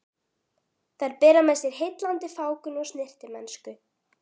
Þær bera með sér heillandi fágun og snyrtimennsku.